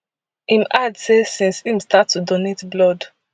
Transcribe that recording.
im add say since im start to donate blood